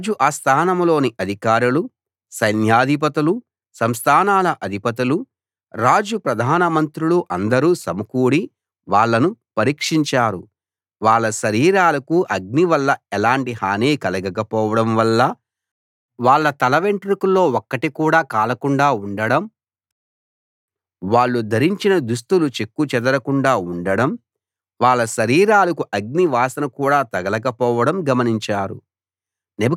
రాజు ఆస్థానంలోని అధికారులు సైన్యాధిపతులు సంస్థానాల అధిపతులు రాజు ప్రధాన మంత్రులు అందరూ సమకూడి వాళ్ళను పరీక్షించారు వాళ్ళ శరీరాలకు అగ్ని వల్ల ఎలాంటి హాని కలగకపోవడం వాళ్ళ తలవెంట్రుకల్లో ఒక్కటి కూడా కాలకుండా ఉండడం వాళ్ళు ధరించిన దుస్తులు చెక్కు చెదరకుండా ఉండడం వాళ్ళ శరీరాలకు అగ్ని వాసన కూడా తగలకపోవడం గమనించారు